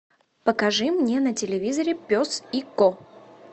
покажи мне на телевизоре пес и ко